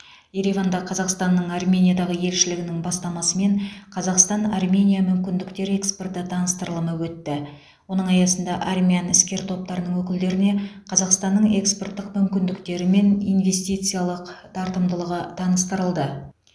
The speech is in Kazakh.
ереванда қазақстанның армениядағы елшілігінің бастамасымен қазақстан армения мүмкіндіктер экспорты таныстырылымы өтті оның аясында армян іскер топтарының өкілдеріне қазақстанның экспорттық мүмкіндіктері мен инвестициялық тартымдылығы таныстырылды